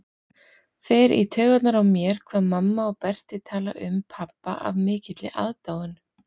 Fer í taugarnar á mér hvað mamma og Berti tala um pabba af mikilli aðdáun.